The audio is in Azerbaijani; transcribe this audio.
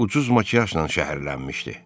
Ucuz makiyajla şəhərlənmişdi.